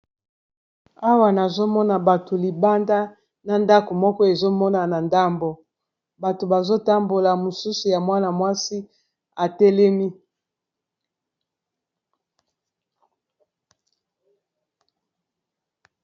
Awa nazomona bato libanda na ndako moko ezomonana ndambo bato bazotambola mosusu ya mwana mwasi atelemi.